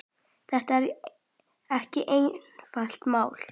Þetta er ekki einfalt mál.